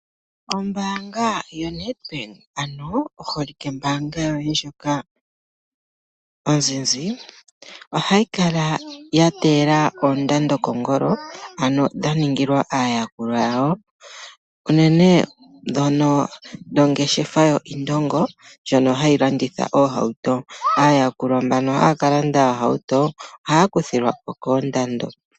Ombaanga yaNedbank ano oholike mbaanga yoye ndjoka onzinzi, ohayi kala yateyela oondado kongolo ano dhaningilwa aayakulwa yawo unene tuudhono dho ngeshefa yoIndongo ndjono hayi landitha iihawuto, aayakulwa mbano haya kalande eehawuto ohaakuthilwako koondando.